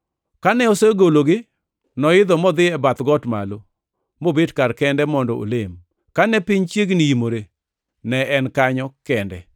Kane osegologi, noidho modhi e bath got malo, mobet kar kende mondo olem. Kane piny chiegni imore, ne en kanyo kende,